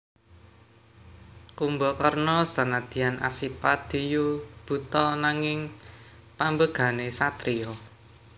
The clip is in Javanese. Kumbakarna senadyan asipat diyu buta nanging pambegané satriya